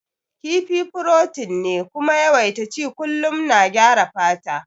Kifi furotin ne kuma yawaita ci kullum na gyara fata